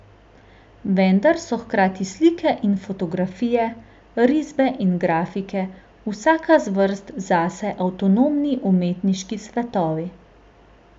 Vendar so hkrati slike in fotografije, risbe in grafike vsaka zvrst zase avtonomni umetniški svetovi.